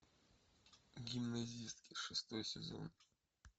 гимназистки шестой сезон